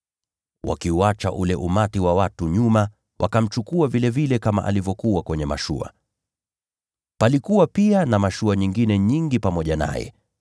Wakauacha ule umati wa watu, na wakamchukua vile alivyokuwa kwenye mashua. Palikuwa pia na mashua nyingine nyingi pamoja naye.